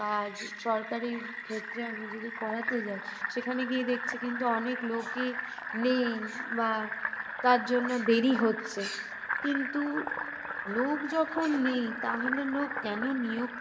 কাজ সরকারি ক্ষেত্রে আমি যদি করাতে যাই সেখানে গিয়ে দেখছি কিন্তু অনেক লোকই নেই বা তার জন্য দেরি হচ্ছে। কিন্তু লোক যখন নেই তাহলে লোক কেন নিয়োগ